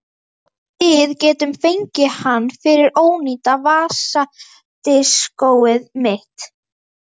Við getum fengið hann fyrir ónýta vasadiskóið mitt.